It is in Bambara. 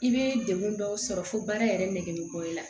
I bɛ degun dɔw sɔrɔ fo baara yɛrɛ nɛkɛ bɔ i la